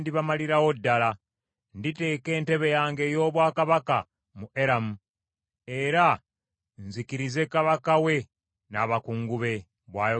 Nditeeka entebe yange ey’obwakabaka mu Eramu era nzikirize kabaka we n’abakungu be,” bw’ayogera Mukama Katonda.